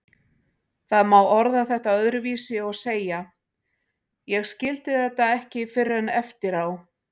Það má orða þetta öðruvísi og segja: Ég skildi þetta ekki fyrr en eftir á.